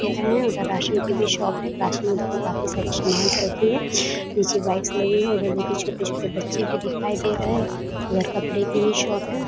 पेड़ है। उधर राशन की भी शॉप है। राशन देके काफी सारे सामान रखी है। नीचे बाइक्स लगी है। उधर देखिये छोटे-छोटे बच्चे भी दिखाई दे रहे है। उधर कपड़े की भी शॉप है।